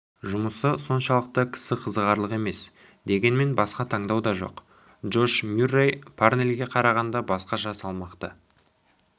жұмысы соншалықты кісі қызығарлық емес дегенмен басқа таңдау да жоқ джош мюррей парнельге қарағанда басқаша салмақты